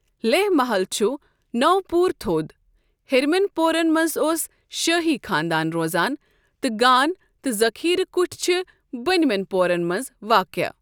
لیہہ محل چھُ نوٚ پور تھوٚد، ہیٚرمٮ۪ن پورَن مَنٛز اوس شٲہی خاندان روزان، تہٕ گان تہٕ ذخیرٕ كُٹھۍ چھِ بٔنۍمٮ۪ن پورَن مَنٛز واقعہٕ۔